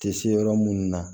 Tɛ se yɔrɔ munnu na